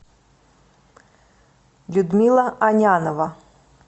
людмила анянова